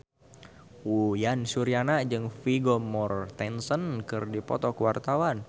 Uyan Suryana jeung Vigo Mortensen keur dipoto ku wartawan